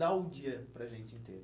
Dá o dia para a gente inteiro.